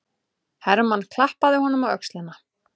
Hermann klappaði honum á öxlina.